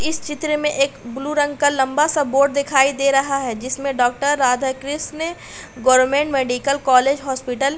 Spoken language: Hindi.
इस चित्र में एक ब्लू रंग का लंबा सा बोर्ड दिखाई दे रहा है जिसमें doctor Radha Krishna government medical college hospital --